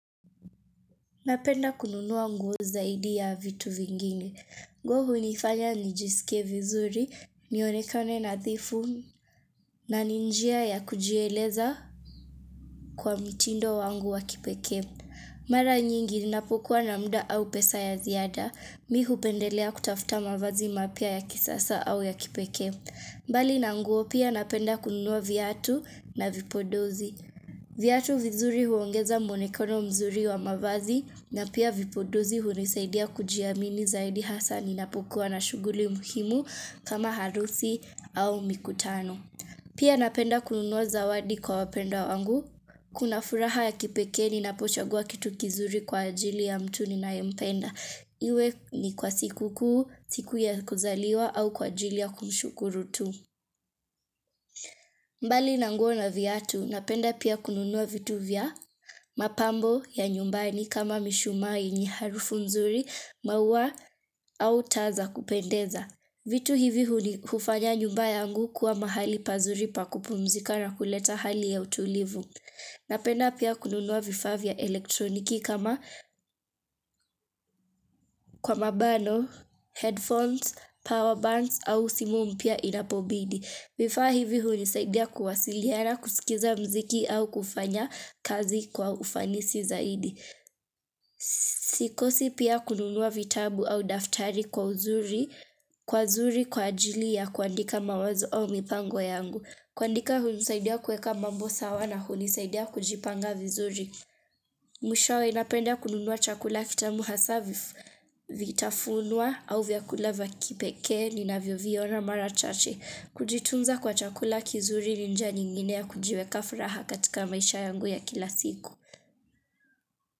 Napenda kununua nguo zaidi ya vitu vingine. Nguo hunifanya nijisike vizuri, nionekane nadhifu, na ni njia ya kujieleza kwa mtindo wangu wa kipekee. Mara nyingi ninapokuwa na mda au pesa ya ziada, mimi hupendelea kutafuta mavazi mapya ya kisasa au ya kipekee. Mbali na nguo pia napenda kununuwa viatu na vipondozi. Viatu vizuri huongeza mwonekono mzuri wa mavazi na pia vipondozi hunisaidia kujiamini zaidi hasa ninapukuwa na shuguli muhimu kama harusi au mikutano. Pia napenda kununuwa zawadi kwa wapendwa wangu. Kuna furaha ya kipekee ninapochagua kitu kizuri kwa ajili ya mtu ninayempenda. Iwe ni kwa sikukuu, siku ya kuzaliwa au kwa ajili ya kumshukuru tu. Mbali nanguo na viatu, napenda pia kununua vitu vya mapambo ya nyumbani kama mishumaa yenye harufu nzuri maua au taa za kupendeza. Vitu hivi hufanya nyumba yangu kuwa mahali pazuri pakupumzika na kuleta hali ya utulivu. Napenda pia kununua vifaa vya elektroniki kama kwa mabano, headphones, power bands au simu mpya inapobidi. Vifaa hivi hunisaidia kuwasiliana kusikiza mziki au kufanya kazi kwa ufanisi zaidi. Sikosi pia kununua vitabu au daftari kwa uzuri kwa uzuri kwa ajili ya kuandika mawazo au mipango yangu. Kuandika hunisaidia kuweka mambo sawa na hunisaidia kujipanga vizuri. Mwishawe napenda kununua chakula kitamu hasa vitafunwa au vyakula vya kipeke ninavyo viona mara chache. Kujitunza kwa chakula kizuri ni njia nyingine ya kujiweka furaha katika maisha yangu ya kila siku.